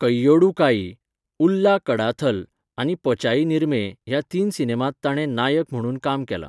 कैयोडू काई, उल्ला कडाथल आनी पचाई निरमे ह्या तीन सिनेमांत ताणें नायक म्हणून काम केलां.